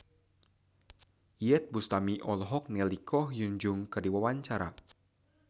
Iyeth Bustami olohok ningali Ko Hyun Jung keur diwawancara